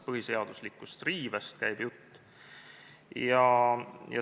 Põhiseaduslikust riivest käib jutt.